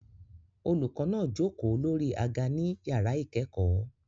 Olùkọ́ náà jókòó lórí àga ní yàrá ìkẹ́kọ̀ọ́